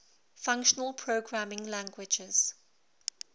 functional programming languages